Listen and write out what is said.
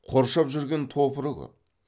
қоршап жүрген топыры көп